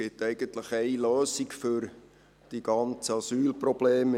Es gibt eigentlich eine Lösung für die ganzen Asylprobleme: